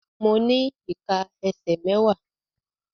Mo ní ìká ẹsẹ̀ mẹ́wàá.